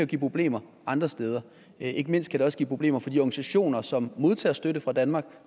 give problemer andre steder ikke mindst kan det også give problemer for de organisationer som modtager støtte fra danmark